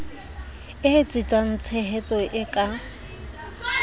e etsetsang tshehetso e ka